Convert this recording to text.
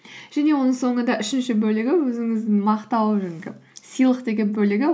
және оның соңында үшінші бөлігі өзіңіздің мақтау жаңағы сыйлық деген бөлігі